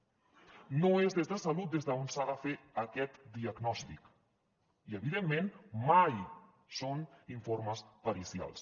no és des de salut des d’on s’ha de fer aquest diagnòstic i evidentment mai són informes pericials